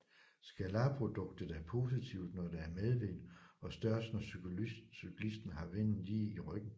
Scalarproduktet er positivt når der er medvind og størst når cyklisten har vinden lige i ryggen